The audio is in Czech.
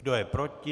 Kdo je proti?